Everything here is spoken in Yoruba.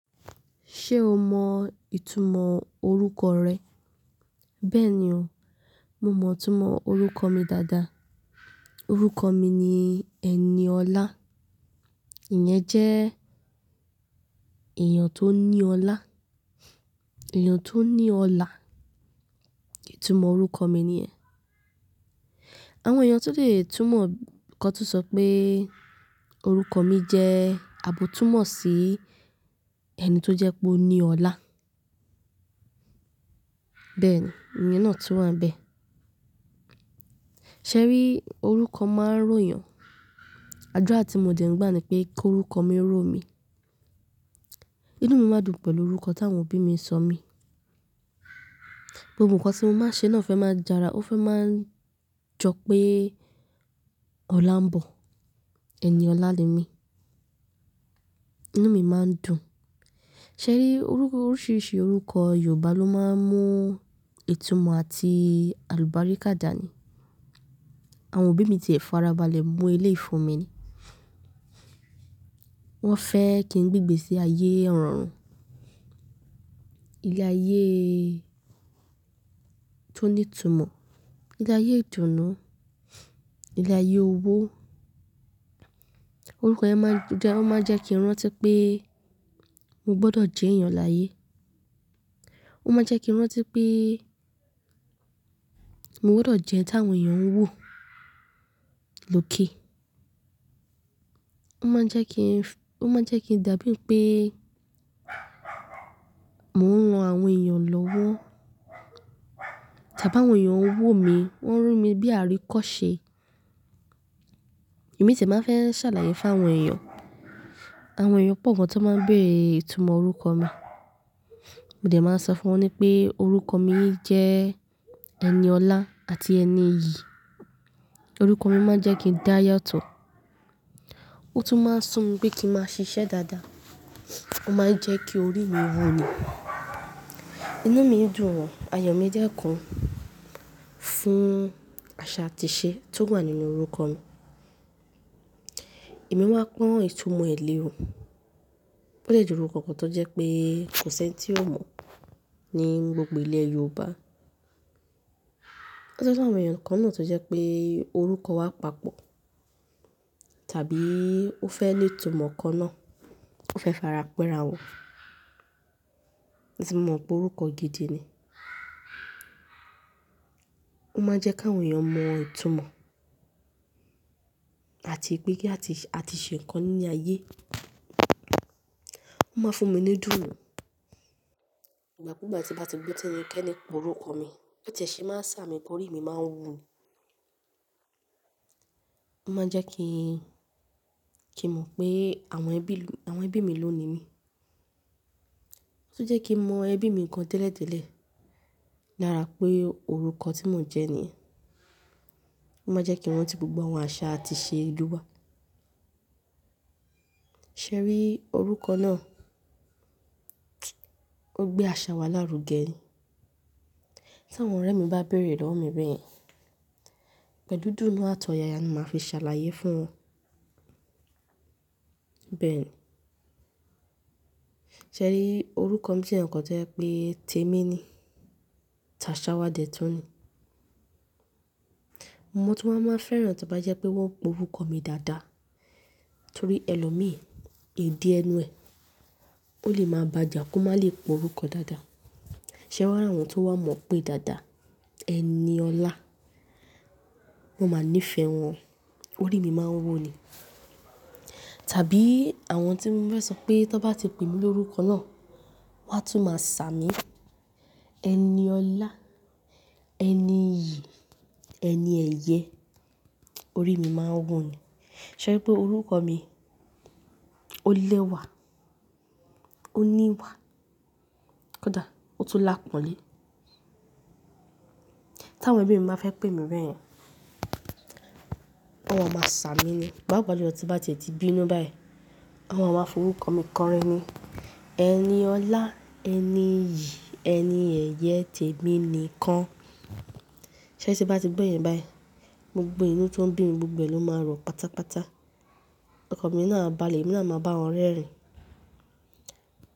Ṣé o mọ ìtumọ̀ orúkọ rẹ? Bẹ́ẹ̀ni o, mo mọ ìtumọ̀ orúkọ mi dáadáa. Orúkọ mi ni Eniọlá. Ìyẹn jẹ́ èèyàn tó ní ọlá, èèyàn tó ní ọlá. Ìtumọ̀ orúkọ mi niyẹn Àwọn èèyàn tun lè túmọ̀ kan tun sọ pé orúkọ mi jẹ́ àbótúnmọ̀ sí ẹni tó jẹ́ pé ó ní ọlá. Bẹ́ẹ̀ni, ìyẹn náà tún wà n bẹ́ẹ̀. Ṣẹ́ ri, orúkọ máa ń ròyàn. Àdúrà tí mo dẹ̀ ń gbà ni pé kí orúkọ mi ó rò mi. Inú mi máa dùn pẹ̀lú orúkọ tí àwọn òbí mi sọ mi. Gbogbo nǹkan tí mo máa ń ṣe náà fẹ́ máa jara, ó fẹ́ máa ń jọ pé ọlá ń bọ̀. Eniọlá ni mí. Inú mi máa ń dùn. Ṣẹ́ ri, iru, oríṣiríṣi orúkọ Yorùbá ló máa ń mú ìtumọ̀ àti àlùbáríkà dànì. Àwọn òbí mi ti è farabalẹ̀ mú eleyii fun mi ni. Wọ́n fẹ́ kí n gbé gbẹ̀sẹ̀ ayé irorun, ilé ayé tó ní ìtumọ̀, ilé ayé ìdùnnú, ilé ayé owó. Orúkọ yẹn máa ń jẹ, ó máa ń jẹ́ kí n rántí pé mo gbọdọ̀ jẹ́ èèyàn láyé. Ó máa ń jẹ́ kí n rántí pé mo gbọdọ̀ jẹ́ ẹni tí àwọn èèyàn ń wò, lókè. Ó máa ń jẹ́ kí n f, ó máa ń jẹ́ kí n dàbí pé mò ń ran àwọn èèyàn lọ́wọ́. Tàbí àwọn èèyàn ń wò mí, wọ́n ń rí mi bí àríkọ́ṣe. Èmi sì máa ń fẹ́ ṣàlàyé fún àwọn èèyàn. Àwọn èèyàn pọ̀ gan tó máa ń béèrè ìtumọ̀ orúkọ mi. Mo dẹ̀ máa ń sọ fún wọn pé orúkọ mi jẹ́ Eniọlá àti ẹni iyì. Orúkọ mi máa ń jẹ́ kí n dáyàtọ̀. Ó tún máa ń sùn mi pé kí n máa ṣiṣẹ́ dáadáa. Ó máa ń jẹ́ kí orí mi wu ni. Inú mi ń dùn o. Ayọ̀ mi dẹ́kun fún àṣà àti ìṣe tó wà nínú orúkọ mi. Èmi wáa pọ́n ìtumọ̀ ẹ lé o. Ó dè jẹ́ orúkọ kan tó jẹ́ pé kò sí ẹni tí o mọ̀ ní gbogbo ilẹ̀ Yorùbá. Ó daju awon èèyàn kan náà tó jẹ́ pé orúkọ wa papọ̀. Tàbí ó fẹ́ ni ìtumọ̀ kan náà, ó fẹ́ fara pẹ́ra wọn. Ìtumọ̀ pé orúkọ gidi ni. Ó máa ń jẹ́ kí àwọn èèyàn mọ ìtumọ̀ àti pé kí a ti, a ti ṣe nǹkan nínú ayé. Ó máa ń fún mi ní dùùrù. Ìgbà kúùgbà tí a bá ti gbo tí ẹ́nikẹ́ni pe orúkọ mi, bi won tiẹ́ ṣé máa ń ṣà mí, orí mi máa ń wù. Ó máa ń jẹ́ kí n, kí n mọ̀ pé àwọn ẹbí, àwọn ẹbí mi ló ni mí. Ó tún jẹ́ kí n mọ ẹbí mi kan tẹ́lẹ̀tẹ́lẹ̀. Lára pé orúkọ tí mò ń jẹ́ ni. Ó máa ń jẹ́ kí n ranti gbogbo àwọn àṣà àti ìṣe ìlú wa. Ṣẹ́ ri, orúkọ náà, ó gbé àṣà wa lárugẹ ni. Tí àwọn ọ̀rẹ́ mi bá béèrè lọ́wọ́ mi bẹ́ẹ̀, pẹ̀lú idùnnu àtọ̀yaya ni màá fi ṣàlàyé fún wọn. Bẹ́ẹ̀ni. Ṣẹ́ ri, orúkọ mi jẹ́ nǹkan tó jẹ́ pé tèmi ni. Tàṣáwa dẹ̀ tún ni. Mọ tun wá máa n fẹ́ràn tí o bá jẹ́ pé wọ́n n pe orúkọ mi dáadáa. Nítorí ẹlòmíràn, ìdí ẹnu ẹ, ó lè máa bàja, kó má lè pe orúkọ dáadáa. Ṣẹ́ wàá ra àwọn tó wá mọ̀ pé dáadáa, Eniọlá, mo máa níìfẹ̀ wọn. Orí mi máa ń wu ni. Tàbí àwọn tí ń fẹ́ sọ pé tí wọ́n bá ti pè mí lórúkọ náà, wọ́n á tún máa ṣà mí. Eniọlá, ẹni iyì, ẹni ẹ̀yẹ. Orí mi máa ń wòó ni. Ṣẹ́ri wípé orúkọ mi ó lẹ́wà, ó níwà, kódà ó tún lápọ̀nlé. Tí àwọn ẹbí mi bá fẹ́ pè mí bẹ́ẹ̀, wọn ma máa ṣà mí ni. Paapa julọ́ tí n bá tie ti bínú báyìí, wọn ma máa fọ orúkọ mi kọrin ni. Eniọlá, ẹni iyì, ẹni ẹ̀yẹ, tèmi ni kàn. Ṣẹ́ri tí n bá ti gbọ́ yen báyìí, gbogbo inú tó ń bí mi gbogbo ló máa rọ pátápátá. Ọkan mi náà a bále, emi náa à máa bá àwọn rẹ́rìn.